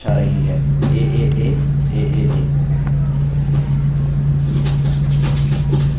यह लाइन क्या दर्शा रही है aaa aaa…